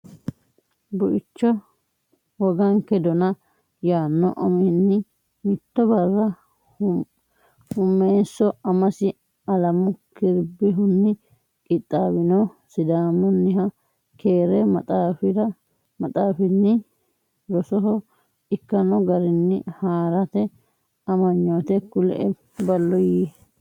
Buicho Woganke Dona yaanno uminni Mitto barra Huummeesso amasi Alamu Kiribihunni qixxaawino Sidaamunniha keere maxaafinni rosoho ikkanno garinni haa rate amanyoote kulie ballo yii.